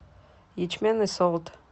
ячменный солод